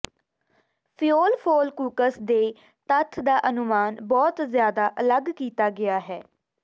ਫਿਉਲਫੋਲਕੂਕਸ ਦੇ ਤੱਥ ਦਾ ਅਨੁਮਾਨ ਬਹੁਤ ਜ਼ਿਆਦਾ ਅਲਗ ਕੀਤਾ ਗਿਆ ਹੈ